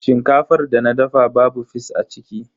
Shinkafar da na dafa babu fis a ciki.